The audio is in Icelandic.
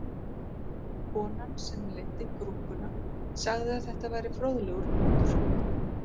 Konan sem leiddi grúppuna sagði að þetta væri fróðlegur punktur